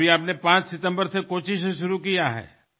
तर आता आपण 5 सप्टेंबरपासून कोच्चिहून सुरूवात केली आहे